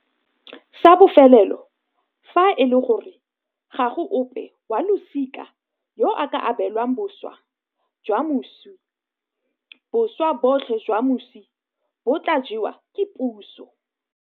Sa bofelelo, fa e le gore ga go ope wa losika yo a ka abelwang boswa jwa moswi, boswa botlhe jwa moswi bo tla jewa ke puso.